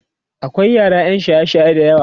akwai yara ƴan shaye shaye da yawa